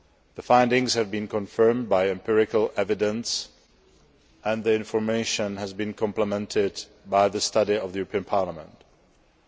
The findings have been confirmed by empirical evidence and the information has been complemented by the European Parliament study.